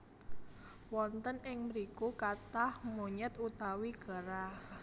Wonten ing mriku kathah monyet utawi kera